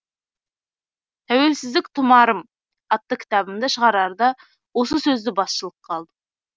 тәуелсіздік тұмарым атты кітабымды шығарарда осы сөзді басшылыққа алдым